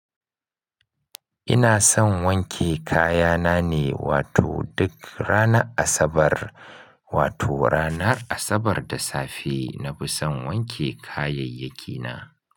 Ina son wanke kaya na ne, wato duk ranar Asabar, wato ranar Asabar da safe na fi son wanke kayayyaki na.